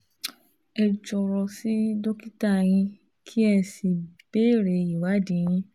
Ẹ jọ̀rọ̀ sí dókítà yín kí ẹ sì béèrè ìwádìí yìí